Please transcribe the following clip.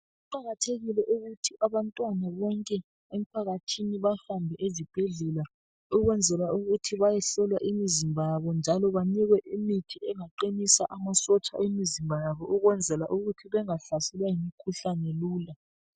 Kuqakathekile ukuthi abantwana bonke emphakathini bahambe ezibhedlela ukwenzela ukuthi bayehlola imizimba yabo njalo banikwe imithi engaqinisa amasotsha emizimba yabo ukwenzela ukuthi bengahlaselwa yimikhuhlani lula.